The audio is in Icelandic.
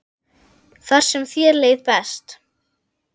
Þar sem þér leið best.